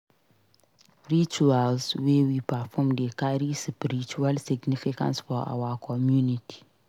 Rituals wey we perform dey carry spiritual significance for our community.